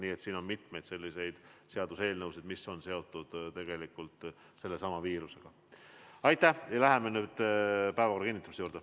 Nii et siin on mitu sellist seaduseelnõu, mis on tegelikult seotud sellesama viiruse olukorraga.